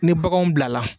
Ni baganw bilala